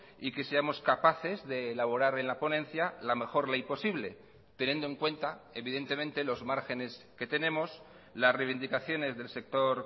y que seamos capaces de elaborar en la ponencia la mejor ley posible teniendo en cuenta evidentemente los márgenes que tenemos las reivindicaciones del sector